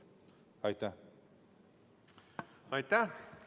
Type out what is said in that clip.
Aitäh!